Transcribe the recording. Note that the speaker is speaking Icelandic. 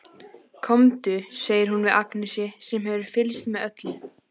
Komdu, segir hún við Agnesi sem hefur fylgst með öllu.